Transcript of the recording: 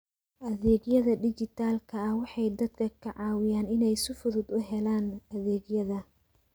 Adeegyada dijitaalka ah waxay dadka ka caawiyaan inay si fudud u helaan adeegyada.